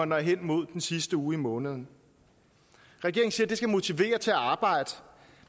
når hen imod den sidste uge af måneden regeringen siger at det skal motivere til at arbejde